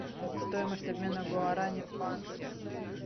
стоимость обмена гуарани в банке